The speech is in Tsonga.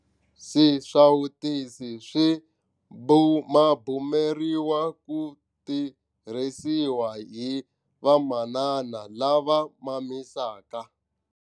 Swisawutisi swi bumabumeriwa ku tirhisiwa hi vamanana lava mamisaka.